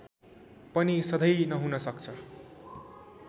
पनि सधैं नहुन सक्छ